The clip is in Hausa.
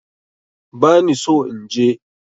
Bani so inje